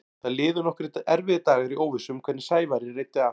Það liðu nokkrir erfiðir dagar í óvissu um hvernig Sævari reiddi af.